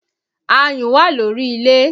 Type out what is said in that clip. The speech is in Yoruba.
Ayùn wà lórí ilé